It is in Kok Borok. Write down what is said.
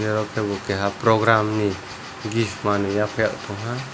aro ke bo keha program ni gift manui yafarai tongha.